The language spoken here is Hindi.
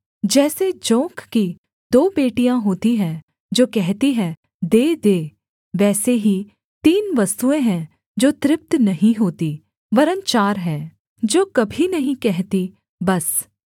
जैसे जोंक की दो बेटियाँ होती हैं जो कहती हैं दे दे वैसे ही तीन वस्तुएँ हैं जो तृप्त नहीं होतीं वरन् चार हैं जो कभी नहीं कहती बस